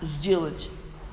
сделать